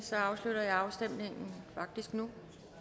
afslutter jeg afstemningen nu